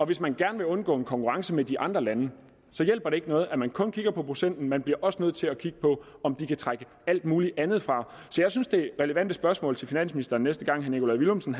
hvis man gerne vil undgå en konkurrence med de andre lande hjælper det ikke noget at man kun kigger på procenten man bliver også nødt til at kigge på om de kan trække alt muligt andet fra så jeg synes de relevante spørgsmål til finansministeren næste gang herre nikolaj villumsen